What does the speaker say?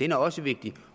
den er også vigtig